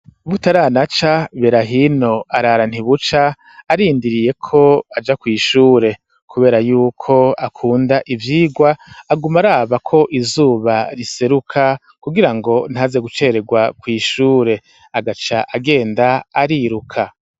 Butaranaca, Berahino arara ntibuca arindiriye ko aja kw'ishure, kubera y'uko akunda ivyigwa, aguma araba ko izuba riseruka kugira ngo ntaze gucererwa kw'ishure, agaca agenda ariruka.